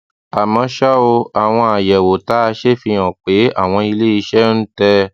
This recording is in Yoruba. àmó ṣá o àwọn àyẹwò tá a ṣe fi hàn pé àwọn ilé iṣé ń tè